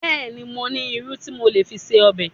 Bẹ́ẹ̀ni, mo ní irú tí mo lè fi se ọbẹ̀